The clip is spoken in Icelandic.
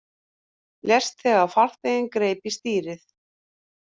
Lést þegar farþeginn greip í stýrið